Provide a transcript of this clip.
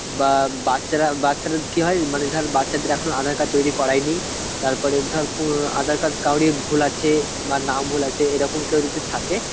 বা বাচ্চারা বাচ্চাদের কি হয় মানে ধর বাচ্চাদের এখনো aadhar card তৈরি করায়নি তারপরে ধর উম aadhar card কাউরে ভুল আছে বা নাম ভুল আছে এরকম কেউ যদি থাকে